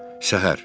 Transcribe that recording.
Səhər.